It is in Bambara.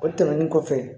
O tɛmɛnen kɔfɛ